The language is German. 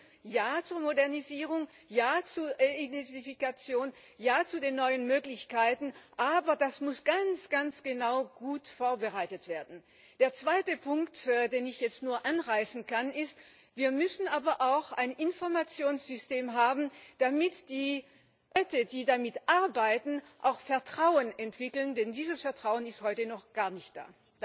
Deswegen Ja zur Modernisierung, ja zur Identifikation, ja zu den neuen Möglichkeiten, aber das muss ganz, ganz genau und gut vorbereitet werden. Der zweite Punkt, denn ich jetzt nur anreißen kann, ist Wir müssen aber auch ein Informationssystem haben, damit die Leute, die damit arbeiten, auch Vertrauen entwickeln, denn dieses Vertrauen ist heute noch gar nicht da.